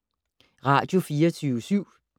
Radio24syv